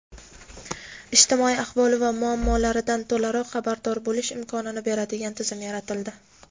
ijtimoiy ahvoli va muammolaridan to‘laroq xabardor bo‘lish imkonini beradigan tizim yaratildi.